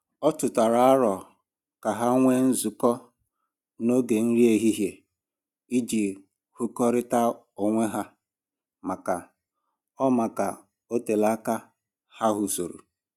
Ọ tụtara aro ka ha nwee nzukọ n'oge nri ehihie iji hụkọrịta onwe ha maka o maka o telaa aka ha hụsọrọ